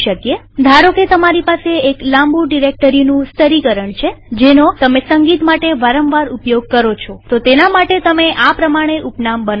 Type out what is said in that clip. ધારોકે તમારી પાસે એક લાંબુ ડિરેક્ટરીઓનું સ્તરીકરણ છે જેનો તમે સંગીત માટે વારંવાર ઉપયોગ કરો છોતો તેના માટે તમે આ પ્રમાણે ઉપનામ બનાવી શકો